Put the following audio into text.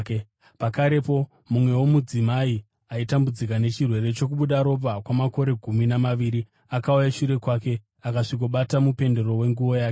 Pakarepo mumwewo mudzimai aitambudzwa nechirwere chokubuda ropa kwamakore gumi namaviri akauya shure kwake akasvikobata mupendero wenguo yake.